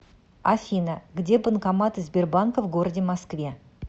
афина где банкоматы сбербанка в городе москве